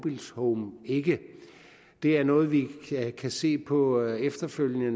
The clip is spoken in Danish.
ikke det er noget vi kan se på efterfølgende